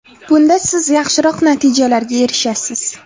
Bunda siz yaxshiroq natijalarga erishasiz!